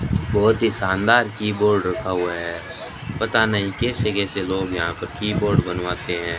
बहोत ही शानदार कीबोर्ड रखा हुआ है पता नहीं कैसे कैसे लोग यहां पर कीबोर्ड बनवाते हैं।